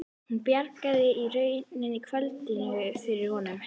Hún bjargaði í rauninni kvöldinu fyrir honum.